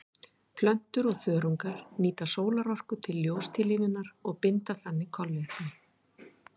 Plöntur og þörungar nýta sólarorka til ljóstillífunar og binda þannig kolefni.